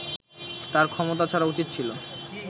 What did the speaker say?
তার ক্ষমতা ছাড়া উচিত ছিল